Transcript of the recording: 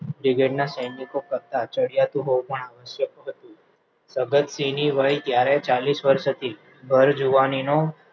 Brigadier ના સૈનિકો નો કરતા ચડિયાતો હોવાનું આવશ્યક હતું જગતસિંહની વય ત્યારે ચાલીસ વર્ષ હતી ભર જુવાનીનો